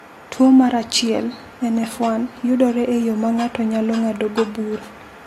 Tuwo mar 1 (NF1) yudore e yo ma ng’ato nyalo ng’adogo bura.